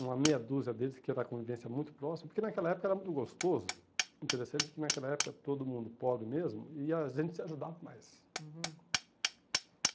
uma meia dúzia deles, que era a convivência muito próxima, porque naquela época era muito gostoso, interessante, que naquela época todo mundo pobre mesmo, e a gente se ajudava mais. Uhum